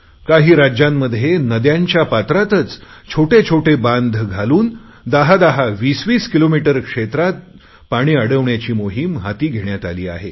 काही राज्यांमध्ये नदयांच्या पात्रातच छोटे छोटे बांध घालून दहादहा वीसवीस किलोमीटर क्षेत्रात पाणी अडवण्याची मोहिम हाती घेण्यात आली आहे